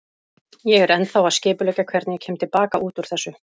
Ég er ennþá að skipuleggja hvernig ég kem til baka út úr þessu.